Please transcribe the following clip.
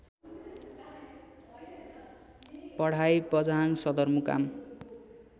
पढाई बझाङ सदरमुकाम